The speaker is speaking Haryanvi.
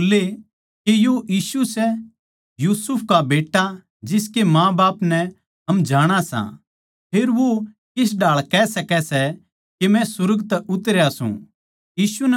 अर वे बोल्ले के यो यीशु सै यूसुफ का बेट्टा जिसकै माँबाप नै हम जाणां सां फेर वो किस ढाळ कह सकै सै के मै सुर्ग तै उतरया सूं